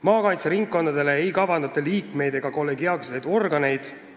Maakaitseringkondadele ei kavandata liikmeid ega kollegiaalseid organeid.